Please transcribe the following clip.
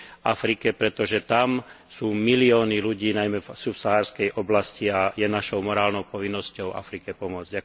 Afrike, pretože tam sú milióny ľudí najmä v subsaharskej oblasti a je našou morálnou povinnosťou Afrike pomôcť.